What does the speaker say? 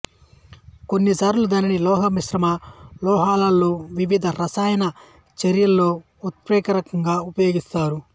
కొన్నిసార్లు దీనిని లోహ మిశ్రమ లోహాలలో వివిధ రసాయన చర్యలలో ఉత్ప్రేరకంగా ఉపయోగిస్తారు